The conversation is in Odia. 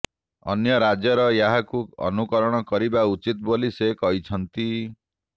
ଅନ୍ୟ ରାଜ୍ୟ ଏହାକୁ ଅନୁକରଣ କରିବା ଉଚିତ୍ ବୋଲି ସେ କହିଛନ୍ତି